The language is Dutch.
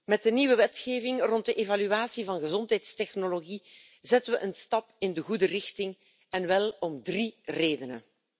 Met de nieuwe wetgeving rond de evaluatie van gezondheidstechnologie zetten we een stap in de goede richting en wel om drie redenen.